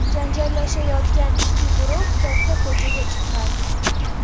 Janjallashayotgan ikki guruh katta ko‘chaga chiqqan.